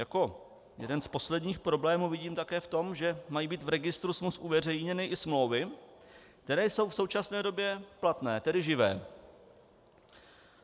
Jako jeden z posledních problémů vidím také v tom, že mají být v registru smluv uveřejněny i smlouvy, které jsou v současné době platné, tedy živé.